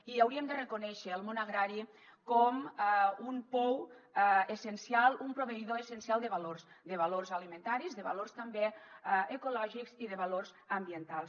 i hauríem de reconèixer el món agrari com un pou essencial un proveïdor essencial de valors de valors alimentaris de valors també ecològics i de valors ambientals